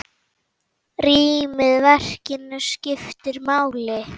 Rýmið í verkinu skiptir máli.